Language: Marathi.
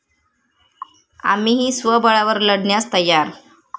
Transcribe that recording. आम्हीही स्वबळावर लढण्यास तयार'